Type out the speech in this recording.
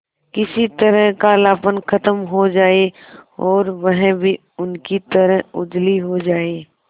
किसी तरह कालापन खत्म हो जाए और वह भी उनकी तरह उजली हो जाय